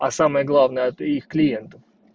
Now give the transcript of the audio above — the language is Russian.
а самое главное от их клиентов